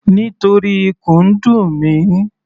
Nítorí ikùn ń dùn mi.